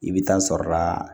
I bɛ taa sɔrɔ la